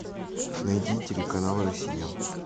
найди телеканал россия